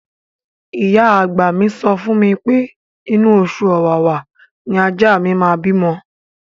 Ìyá àgbà mi sọ fún mi pé inú oṣù Ọ̀wàwà ni ajá mi máa bímọ.